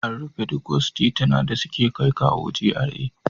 An rufe duk wasu tituna da suke kaiwa GRA.